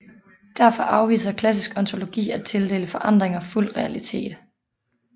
Derfor afviser klassisk ontologi at tildele forandringer fuld realitet